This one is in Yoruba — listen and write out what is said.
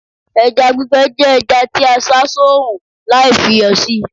eja gbígbẹ je eja ti a sá sorun Lai fi iyò sí